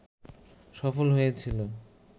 সফল হয়েছিল